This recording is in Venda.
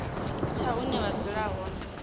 tsha hune vha dzula hone